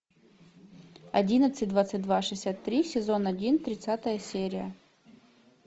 одиннадцать двадцать два шестьдесят три сезон один тридцатая серия